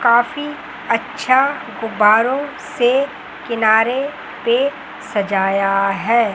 काफी अच्छा गुब्बारों से किनारे पे सजाया है।